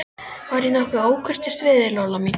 Var ég nokkuð ókurteis við þig, Lolla mín?